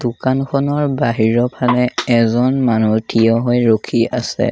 দোকানখনৰ বাহিৰৰ ফালে এজন মানুহ থিয় হৈ ৰখি আছে।